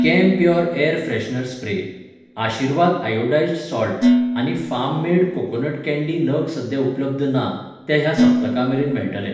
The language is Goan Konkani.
Campure air freshener spray, Aashirvaad iodized salt आनी फार्म मेड कोकोनट कँडी नग सद्या उपलब्ध ना, ते ह्या सपत्का मेरेन मेळटल.